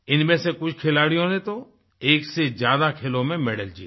इनमें से कुछ खिलाड़ियों ने तो एक से ज्यादा खेलों में मैडल जीते